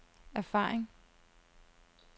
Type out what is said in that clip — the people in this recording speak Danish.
erfaring